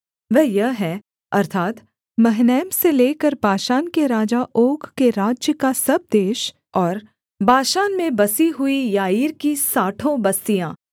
वह यह है अर्थात् महनैम से लेकर बाशान के राजा ओग के राज्य का सब देश और बाशान में बसी हुई याईर की साठों बस्तियाँ